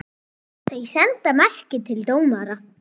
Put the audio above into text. Þeir senda merki til dómara.